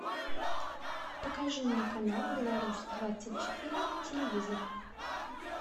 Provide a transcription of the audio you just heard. покажи мне канал беларусь двадцать четыре на телевизоре